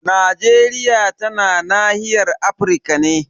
Najeriya tana nahiyar Afirka ne.